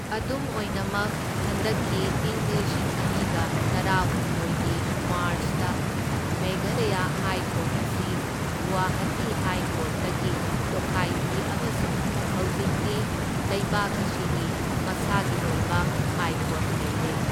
ꯑꯗꯨꯝ ꯑꯣꯏꯅꯃꯛ ꯍꯟꯗꯛꯀꯤ ꯢꯪ ꯂꯤꯁꯤꯡ ꯑꯅꯤꯒ ꯇꯔꯥꯍꯨꯝꯗꯣꯢꯒꯤ ꯃꯥꯔꯆꯇ ꯃꯦꯘꯥꯂꯌꯥ ꯍꯥꯏ ꯀꯣꯔꯠ ꯑꯁꯤ ꯒꯨꯋꯥꯍꯇꯤ ꯍꯥꯏ ꯀꯣꯔ꯭ꯠꯇꯒꯤ ꯇꯣꯈꯥꯏꯈꯤ ꯑꯃꯁꯨꯡ ꯍꯧꯖꯤꯛꯇꯤ ꯂꯩꯕꯥꯛ ꯑꯁꯤꯒꯤ ꯃꯁꯥꯒꯤ ꯑꯣꯏꯕ ꯍꯥꯏ ꯀꯣꯔꯠ ꯂꯩꯔꯦ꯫